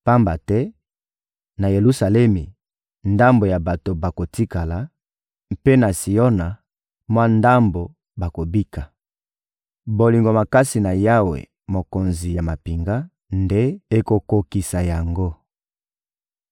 Pamba te, na Yelusalemi, ndambo ya bato bakotikala; mpe na Siona, mwa ndambo bakobika. Bolingo makasi na Yawe, Mokonzi ya mampinga, nde ekokokisa yango.